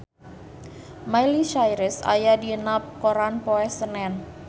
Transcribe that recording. Miley Cyrus aya dina koran poe Senen